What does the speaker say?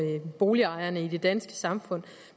boligejerne i det danske samfund